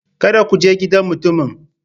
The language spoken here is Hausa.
Kada ku je gidan mutumin!